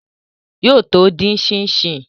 Yóò tó dín ṣíń ṣín